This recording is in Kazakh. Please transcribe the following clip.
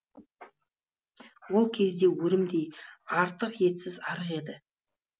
ол кезде өрімдей артық етсіз арық еді